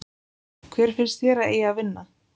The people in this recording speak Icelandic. Hver finnst þér að eigi að vinna?